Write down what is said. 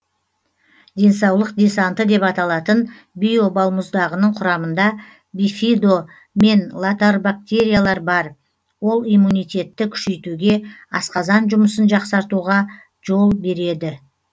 денсаулық десанты деп аталатын био балмұздағының құрамында бифидо мен латорбактериялар бар ол иммунитетті күшейтуге асқазан жұмысын жақсартуға жол береді